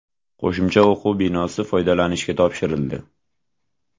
Qo‘shimcha o‘quv binosi foydalanishga topshirildi.